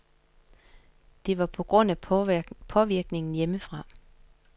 Det var på grund af påvirkningen hjemmefra.